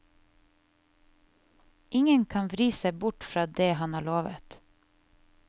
Ingen kan vri seg bort fra det han har lovet.